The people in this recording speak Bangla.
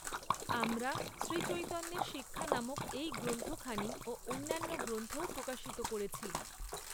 আমরা শ্রীচৈতন্যের শিক্ষা নামক এই গ্রন্থখানি ও অন্যান্য গ্রন্থও প্রকাশিত করেছি।